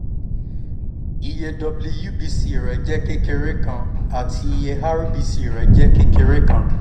iye wbc rẹ jẹ kekere kan ati iye rbc jẹ kekere kan